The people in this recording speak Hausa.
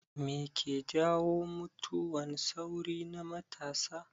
Me ke jawo mutuwan sauri na matasa